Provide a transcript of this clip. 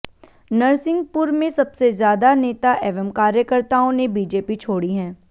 नरसिंहपुर में सबसे ज्यादा नेता एवं कार्यकर्ताओं ने बीजेपी छोड़ी हैं